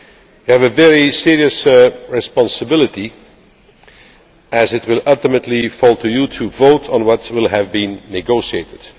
You have a very serious responsibility as it will ultimately fall to you to vote on what will have been negotiated.